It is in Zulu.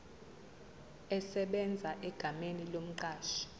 esebenza egameni lomqashi